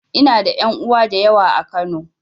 Ina da ƴan uwa da yawa a Kano.